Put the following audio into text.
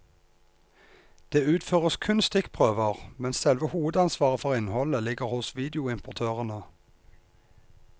Det utføres kun stikkprøver, mens selve hovedansvaret for innholdet ligger hos videoimportørene.